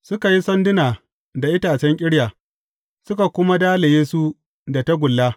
Suka yi sanduna da itacen ƙirya, suka kuma dalaye su da tagulla.